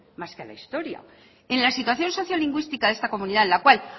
más que a la historia en la situación social lingüística de esta comunidad en la cual